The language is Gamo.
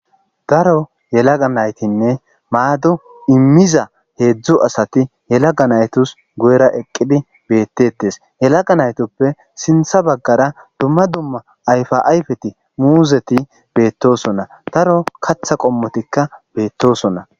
daro yelaga naytinne maado immiza heedzdzu asati yelaga naytos go7era eqqidi beettettes yelaga naytoppe sintha baggara dumma dumma ayfa ayfeti muuzeti beettosonna daro katha qommotikka beettosonna